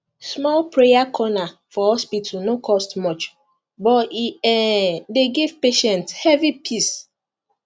small prayer corner for hospital no cost much but e um dey give patients heavy peace